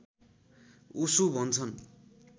ओशो भन्छन्